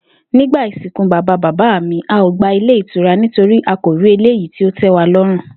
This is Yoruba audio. Nígbà ìsìnkú bàbá bàbá mi, a ò gba ilé ìtura nítorí a kò rí eléyìí tí ó té̩waló̩rùn